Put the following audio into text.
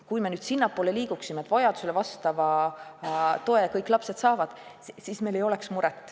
Kui me liiguksime sinnapoole, et kõik lapsed saavad vajadusele vastava toe, siis meil muret ei oleks.